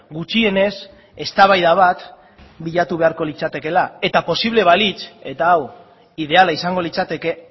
gutxienez eztabaida bat bilatu beharko litzatekeela eta posible balitz eta hau ideala izango litzateke